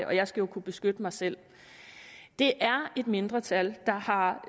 og jeg skal jo kunne beskytte mig selv det er et mindretal der har